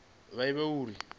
vha ivhe uri hu khou